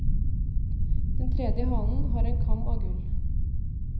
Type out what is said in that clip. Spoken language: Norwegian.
Den tredje hanen har en kam av gull.